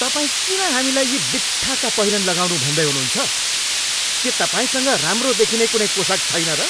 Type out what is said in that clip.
तपाईँ किन हामीलाई यी बित्थाका पहिरन लगाउनु भन्दै हुनुहुन्छ? के तपाईँसँग राम्रो देखिने कुनै पोसाक छैन र?